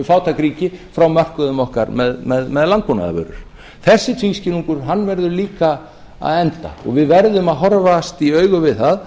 fátæk ríki frá mörkuðum okkar með landbúnaðarvörur við verðum að horfast í augu við það